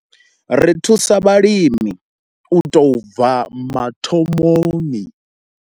Ri thusa vhalimi u tou bva mathomoni.